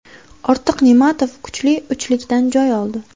Ortiq Ne’matov kuchli uchlikdan joy oldi.